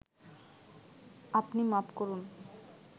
আপনি মাপ করুন